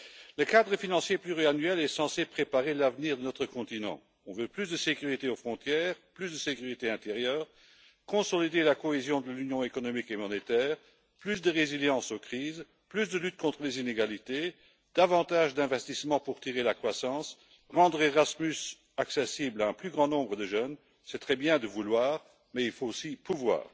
Le cadre financier pluriannuel est censé préparer l'avenir de notre continent, on veut plus de sécurité aux frontières, plus de sécurité intérieure, consolider la cohésion de l'Union économique et monétaire, plus de résilience aux crises, plus de lutte contre les inégalités, davantage d'investissements pour tirer la croissance, rendre Erasmus accessible à un plus grand nombre de jeunes, c'est très bien de vouloir mais il faut aussi pouvoir.